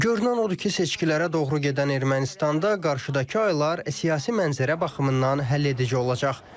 Görünən odur ki, seçkilərə doğru gedən Ermənistanda qarşıdakı aylar siyasi mənzərə baxımından həlledici olacaq.